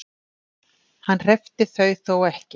Hann hreppti þau þó ekki.